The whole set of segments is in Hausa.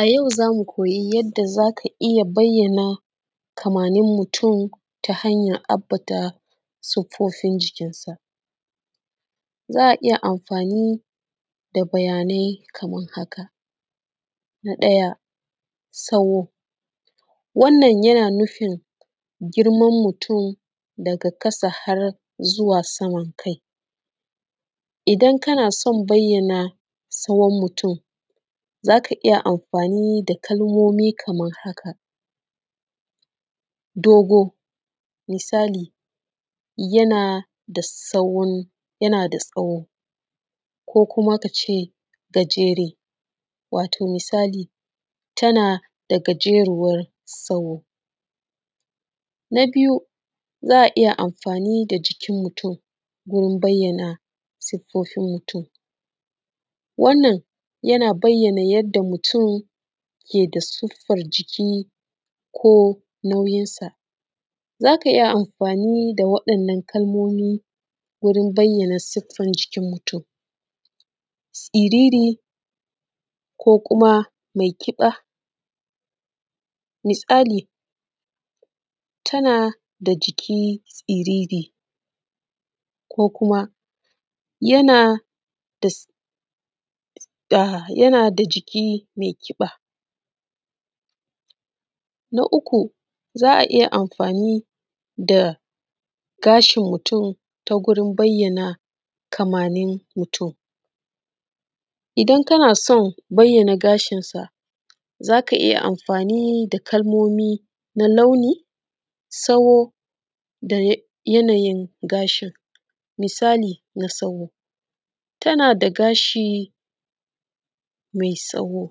A yau za mu koyi yanda za ka iya ambata kamannin mutun ta hanya ambata siffofin jikinsa, za a iya amfani da bayanai kaman haka: na ɗaya tsawo, wannan yana nufin tazaran mutun daga ƙasa har zuwa saman kai. Idan kana son bayyana tsawon mutun za ka iya amfani da kalmomi kaman haka: dogo, misali yana da tsawo ko kuma ka ce gajere, misali tana da gajeruwar tsawo, na biyu za a iya amfani da jikin mutun wajen bayyana siffofin mutun wannan yana bayyana yadda siffar jikin mutun take ko nauyin sa, za ka iya amfani da waɗannan kalmomi wajen bayyana siffofin mutun, siriri ko kuma mai ƙiba misali tana da jiki, siriri ko kuma yana da jiki mai ƙiba. Na uku za a iya amfani da gashin mutun wajen bayyana kamannin mutun, za ka iya amfani da kalmomi na launi, tsawo da yanayin gashin misali mai tsawo, misali tana da gashi mai tsawo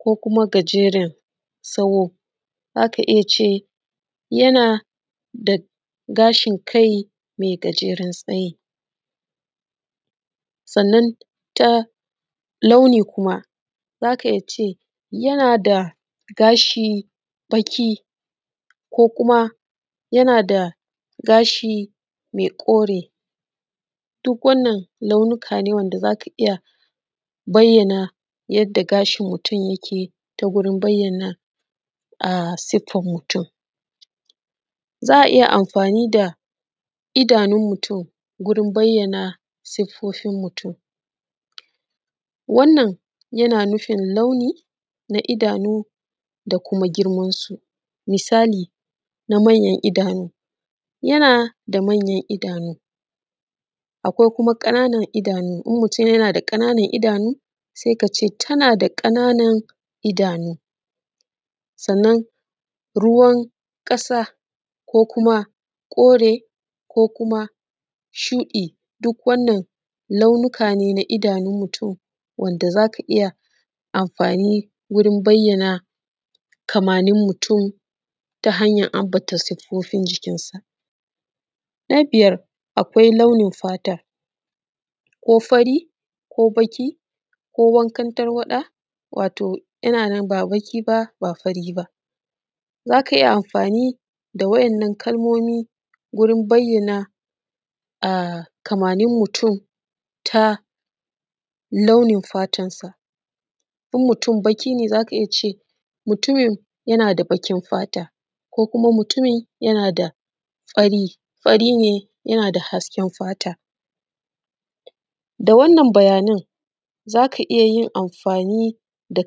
ko kuma gajeren tsawo za ka iya cewa yana da gashin kai mai gajeren tsayi. Sannan ta launi kuma za ka iya ce yana da gashi baƙi ko kuma yana da gashi mai kore duk wannan hanya ne da za ka iya bayyana yadda gashin mutun yake ta, wurin bayyana siffan mutun za a iya amfani da idanun mutun, wurin bayyana siffofin mutun wannan yana nufin launi na idanu da kuma girman su misali yana da manyan idanu, akwai kuma na ƙananan idanu in mutun yana da ƙananan idanu sai ka ce tana da ƙananan idanu sannan ruwan ƙasa ko kuma kore ko shuɗi duk wannan launuka ne na idanun mutun wanda za ka iya amfani wurin bayyana kamannin mutun ta hanyan ambata siffofin jikinsa. Na biyar akwai launin fata ko fari ko baƙi ko wankan tarwaɗa, za ka iya amfani da wannan kalmomi wajen bayyana kamannin mutun misali mutumin yana da baƙin fata ko kuma mutumin fari ne, yana da hasken fata da wannan bayanan za ka iya amfani da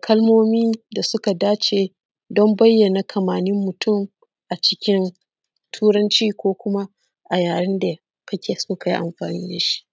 harshen Turanci wajen bayyana kamannin mutun ko kuma harshe da kake so kai amfani da shi.